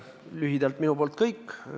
Lühidalt minu poolt kõik.